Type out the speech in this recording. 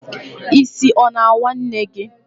Isi a na-awa Nne gi?